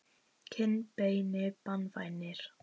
kinnbeini banvænir?